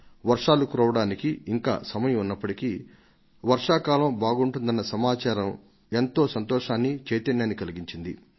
వర్షాలు కురవడానికి ఇంకా సమయం ఉన్నప్పటికీ వర్షాకాలం బాగుంటుందన్న సమాచారమే ఎంతో సంతోషాన్ని చైతన్యాన్ని కలిగించింది